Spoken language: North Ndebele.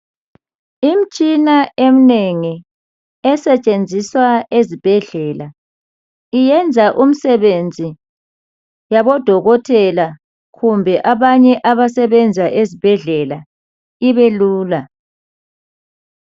Imtshina emnengi esetshenziswa ezibhedlela iyenza umsebenzi yabodokotela kumbe abanye abasebenza ezibhedlela ibelula.